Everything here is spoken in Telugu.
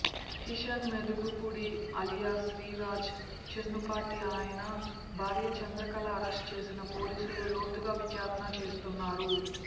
కిషన్ మోదుగుపుడి అలియాస్ శ్రీ రాజ్ చెన్నుపాటి అయన భార్య చంద్రకళ అరెస్ట్ చేసిన పోలీసులు లోతుగా విచారణ చేస్తున్నారు